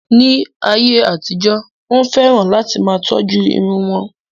Ní ayé àtijó, Wọ́n fẹ́ràn láti máa tọ́jú irun wọn.